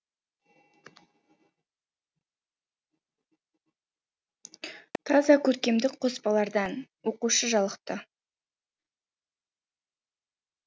таза көркемдік қоспалардан оқушы жалықты